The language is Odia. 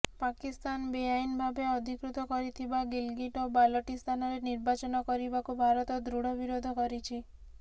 ପାକିସ୍ତାନ ବେଆଇନ ଭାବେ ଅଧିକୃତ କରିଥିବା ଗିଲଗିଟ୍ ଓ ବାଲଟିସ୍ତାନରେ ନିର୍ବାଚନ କରିବାକୁ ଭାରତ ଦୃଢ ବିରୋଧ କରିଛି